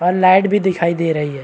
और लाइट भी दिखाई दे रही है।